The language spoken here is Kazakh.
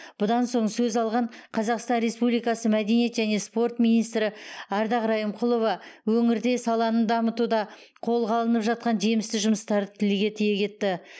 бұдан соң сөз алған қазақстан республикасы мәдениет және спорт министрі ардақ райымқұлова өңірде саланы дамытуда қолға алынып жатқан жемісті жұмыстарды тілге тиек етті